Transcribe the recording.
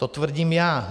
To tvrdím já.